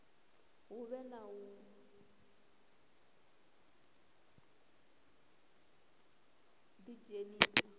hu vhe na u ḓidzhenisa